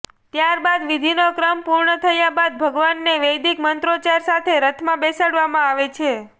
ત્યારબાદ વિધિનો ક્રમ પૂર્ણ થયા બાદ ભગવાનને વૈદિક મંત્રોચ્ચાર સાથે રથમાં બેસાડવામાં આવે છે